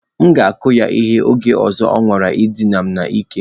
M ga-akụ ya ihe, oge ọzọ ọ nwara idina m n'ike